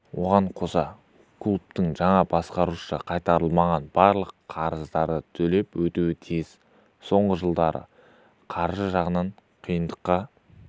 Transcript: оған қоса клубтың жаңа басқарушысы қайтарылмаған барлық қарыздарды төлеп өтеуі тиіс соңғы жылдары қаржы жағынан қиындыққа